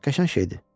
Qəşəng şeydir.